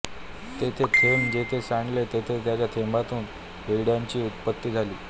ते थेंब जेथे सांडले तेथे त्या थेंबातून हिरड्याची उत्पत्ती झाली